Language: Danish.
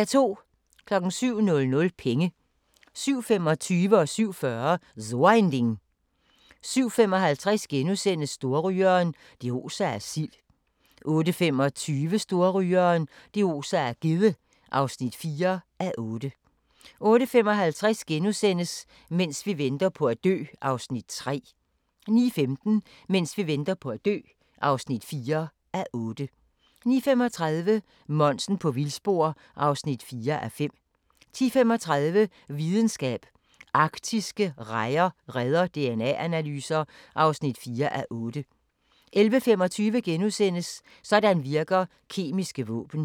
07:00: Penge 07:25: So ein Ding * 07:40: So ein Ding * 07:55: Storrygeren – det oser af sild (3:8)* 08:25: Storrygeren – det oser af gedde (4:8) 08:55: Mens vi venter på at dø (3:8)* 09:15: Mens vi venter på at dø (4:8) 09:35: Monsen på vildspor (4:5) 10:35: Videnskab: Arktiske rejer redder DNA-analyser (4:8) 11:25: Sådan virker kemiske våben *